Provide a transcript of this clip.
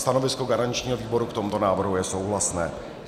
Stanovisko garančního výboru k tomuto návrhu je souhlasné.